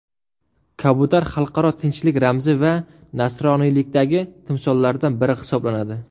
Kabutar xalqaro tinchlik ramzi va nasroniylikdagi timsollardan biri hisoblanadi.